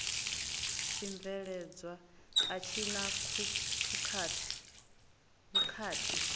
tshibveledzwa a tshi na vhukhakhi